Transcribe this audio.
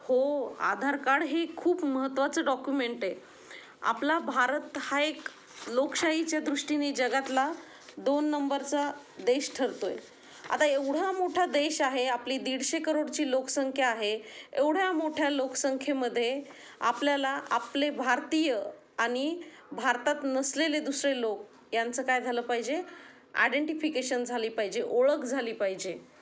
हो आधार कार्ड हे खूप महत्त्वाचं डॉक्युमेंट आहे. आपला भारत हा एक लोकशाही च्या दृष्टीने जगातला दोन नंबर चा देश ठरतो आहे. आता एवढा मोठा देश आहे आपली १५० करोड ची लोकसंख्या आहे. एवढ्या मोठ्या लोकसंख्ये मध्ये आपल्याला आपले भारतीय आणि भारतात नसलेले दुसरे लोक यांचं काय झालं पाहिजे आयडेंटिफिकेशन झाली पाहिजे ओळख झाली पाहिजे.